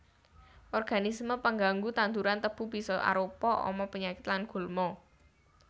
Organisme pengganggu tanduran tebu bisa arupa ama panyakit lan gulma